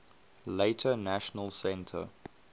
later national centre